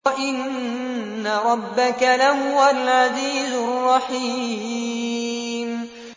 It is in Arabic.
وَإِنَّ رَبَّكَ لَهُوَ الْعَزِيزُ الرَّحِيمُ